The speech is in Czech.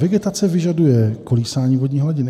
Vegetace vyžaduje kolísání vodní hladiny;